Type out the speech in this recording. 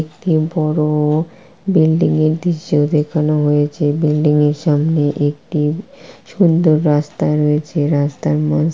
একটি বড়-ও বিল্ডিং -এর দৃশ্য দেখানো হয়েছে বিল্ডিং -এর সামনে একটি সুন্দর রাস্তা রয়েছে রাস্তার মা--